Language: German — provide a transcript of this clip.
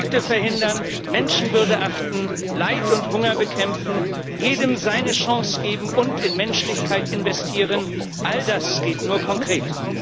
Konflikte verhindern, Menschenwürde achten, Leid und Hunger bekämpfen, jedem seine Chance geben und in Menschlichkeit investieren all das geht nur konkret.